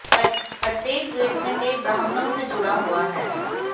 प्रत्येक वेद में कई ब्राह्मणों से जुड़ा हुआ है